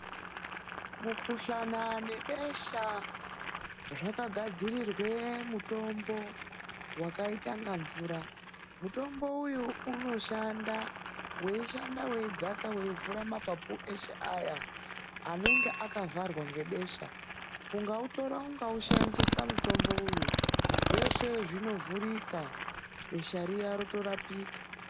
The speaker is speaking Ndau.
Mukuhlana nebesha zvagadzirirwe mutombo wakaita inga mvura. Mutombo uyu unoshanda, weishanda weidzaka weivhura, mapapu eshe aya anenge akavharwa ngebesha. Ungautora ungaushandisa mutombo uyu, zveshe zvinovhurika, besha riya rotorapika.